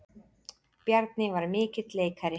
Bjarni var mikill leikari.